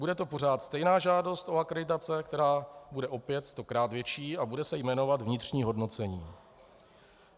Bude to pořád stejná žádost o akreditace, která bude opět stokrát větší a bude se jmenovat vnitřní hodnocení.